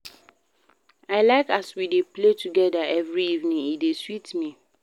I like as we dey play togeda every evening, e dey sweet me.